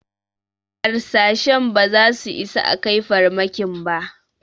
Harsashen ba za su isa a kai farmakin ba